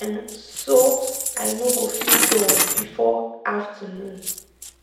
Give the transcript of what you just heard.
um so i no go feel dull before afternoon.